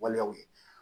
Waleyaw ye